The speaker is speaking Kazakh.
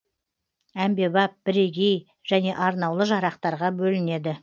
әмбебап бірегей және арнаулы жарақтарға бөлінеді